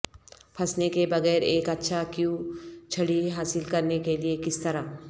پھنسنے کے بغیر ایک اچھا کیو چھڑی حاصل کرنے کے لئے کس طرح